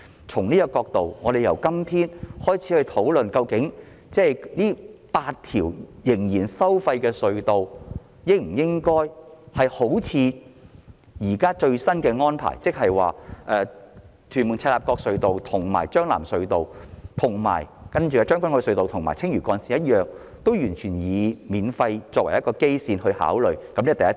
從這個角度來看，我們今天應該開始討論這8條收費隧道的最新安排，即會否考慮亦採取與屯門—赤鱲角隧道、將軍澳—藍田隧道、青嶼幹線及將軍澳隧道同樣的豁免收費安排，這是第一點。